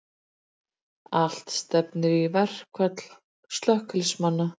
Allt stefnir í verkfall slökkviliðsmanna